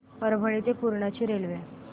परभणी ते पूर्णा ची रेल्वे